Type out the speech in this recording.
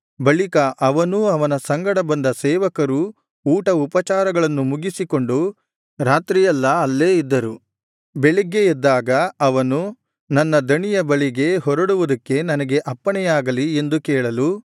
ಬಳಿಕ ಅವನೂ ಅವನ ಸಂಗಡ ಬಂದ ಸೇವಕರೂ ಊಟ ಉಪಚಾರಗಳನ್ನು ಮುಗಿಸಿಕೊಂಡು ರಾತ್ರಿಯೆಲ್ಲಾ ಅಲ್ಲೇ ಇದ್ದರು ಬೆಳಗ್ಗೆ ಎದ್ದಾಗ ಅವನು ನನ್ನ ದಣಿಯ ಬಳಿಗೆ ಹೊರಡುವುದಕ್ಕೆ ನನಗೆ ಅಪ್ಪಣೆಯಾಗಲಿ ಎಂದು ಕೇಳಲು